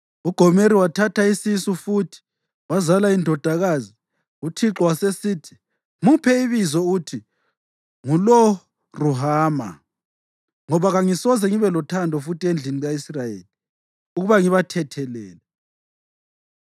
UGomeri wathatha isisu futhi, wazala indodakazi. UThixo wasesithi, “Muphe ibizo uthi nguLo-Ruhama, ngoba kangisoze ngibe lothando futhi endlini ka-Israyeli, ukuba ngibathethelele.